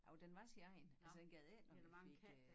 Jo den var sin egen altså den gad ikke når vi fik øh